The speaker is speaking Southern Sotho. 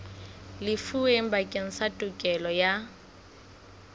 lefuweng bakeng sa tokelo ya